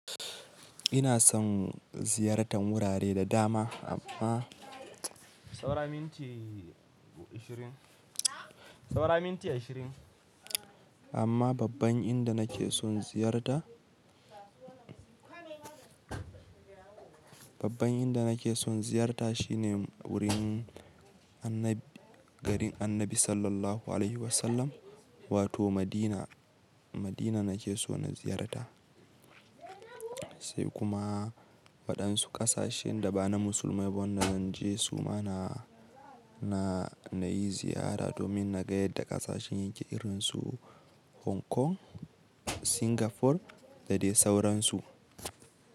Ina son ziyartar wurare da dama amma, amma babban inda nake son ziyarta, babban inda nake son ziyarta shine wurin annabi, garin annabi SAW wato Madina. Madina nake so na ziyarta, sai kuma waɗansu ƙasashen da ba na musulmai ba wanda zan je su ma na, na yi ziyara domin na ga yadda ƙasashen yake irin su Hong Kong, Singapore da dai sauransu.